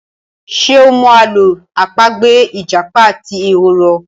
Ṣe o mọ Àló̩ àpagbè ìjàpá àti ehoro?